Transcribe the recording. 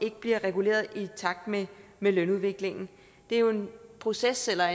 ikke bliver reguleret i takt med med lønudviklingen det er jo en proces eller